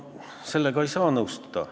Sellega ei saa nõustuda.